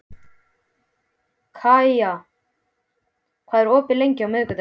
Kaía, hvað er opið lengi á miðvikudaginn?